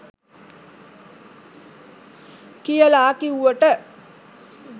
කියලා කිව්වට